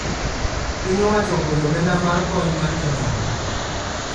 Piny owacho ogolo omenda mar kony mar jodongo